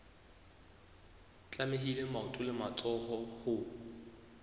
tlamehile maoto le matsoho ho